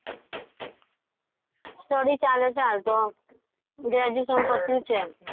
study ચાલે ચે હાલ તો. graduation પટયું છે.